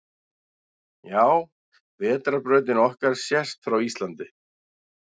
Já, Vetrarbrautin okkar sést frá Íslandi.